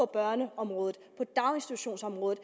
børneområdet på daginstitutionsområdet